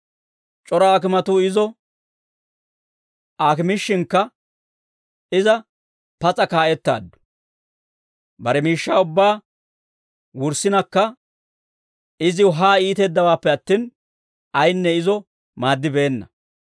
C'ora aakimatuu izo aakimishshinkka, iza pas'a kaa'ettaaddu; bare miishshaa ubbaa wurssinakka iziw haa iiteeddawaappe attin, ayinne izo maaddibeenna.